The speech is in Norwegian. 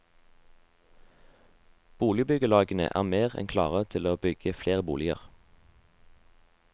Boligbyggelagene er mer enn klare til å bygge flere boliger.